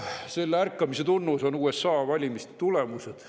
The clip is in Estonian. Selle ärkamise tunnus on USA valimiste tulemused.